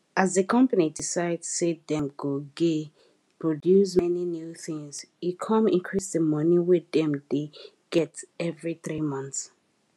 as di company decide say dem go gey produce many new things e com increase di money wey dem dey get every 3 months